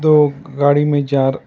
दो गाड़ी में जा र--